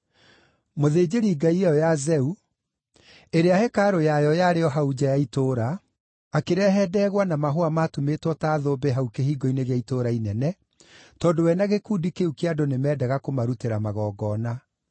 Mũthĩnjĩri-ngai ya Zeu, ũrĩa hekarũ yake yarĩ o hau nja ya itũũra, akĩrehe ndegwa na mahũa maatumĩtwo ta thũmbĩ hau kĩhingo-inĩ gĩa itũũra inene, tondũ we na gĩkundi kĩu kĩa andũ nĩmendaga kũmarutĩra magongona.